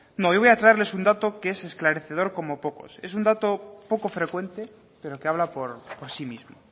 no yo voy a traerles un dato que es esclarecedor como pocos es un dato poco frecuente pero que habla por sí mismo